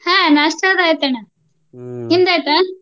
ಹಾ ನಾಷ್ಟಾ ಅದು ಆಯಿತಣ್ಣ. ನಿಮ್ದ್ ಆಯಿತ?